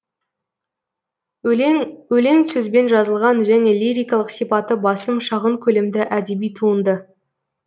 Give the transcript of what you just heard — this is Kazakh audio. өлең өлең сөзбен жазылған және лирикалық сипаты басым шағын көлемді әдеби туынды